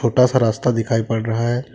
छोटा सा रास्ता दिखाई पड़ रहा है।